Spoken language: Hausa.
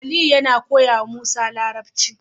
Aliyu yAna koyawa musa larabci